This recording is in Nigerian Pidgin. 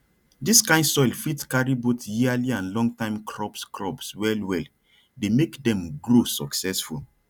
dis kain soil fit carry both yearly and longtime crops crops wellwell dey make dem grow successful